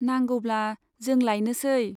नांगौब्ला जों लायनोसै।